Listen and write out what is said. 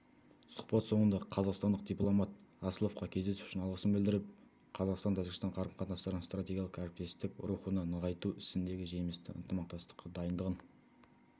сұхбат соңында қазақстандық дипломат асловқа кездесу үшін алғысын білдіріп қазақстан-тәжікстан қарым-қатынастарын стратегиялық әріптесік рухында нығайту ісіндегі жемісті ынтымақтастыққа дайындығын